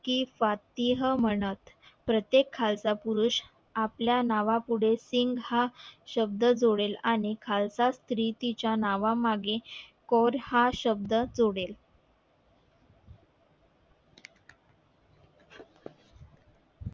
कि फतेह म्हणत प्रत्येक खालसा पुरुष आपल्या नावा पुढे सिघ हा शब्द जोडेल आणि खालसा स्री तिच्या नावा मागे कोर हा शब्द जोडेल